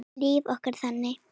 Líf okkar þannig?